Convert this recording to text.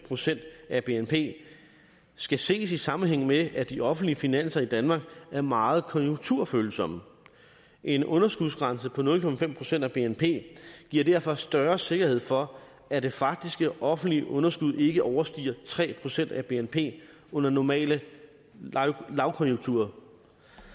procent af bnp skal ses i sammenhæng med at de offentlige finanser i danmark er meget konjunkturfølsomme en underskudsgrænse på nul procent af bnp giver derfor større sikkerhed for at det faktiske offentlige underskud ikke overstiger tre procent af bnp under normale lavkonjunkturer